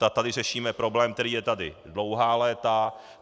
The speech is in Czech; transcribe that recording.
Tady řešíme problém, který je tady dlouhá léta.